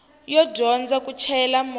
yo dyondza ku chayela movha